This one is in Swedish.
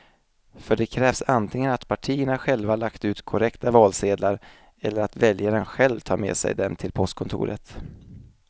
För det krävs antingen att partierna själva lagt ut korrekta valsedlar eller att väljaren själv tar med sig dem till postkontoret.